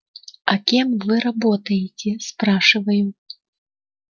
а кем вы работаете спрашиваю